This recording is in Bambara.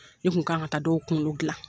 Ne Kun kan ka taa dɔw kunkolo gilan.